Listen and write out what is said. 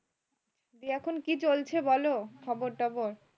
দি এখন কি চলছে বলো খবরটবর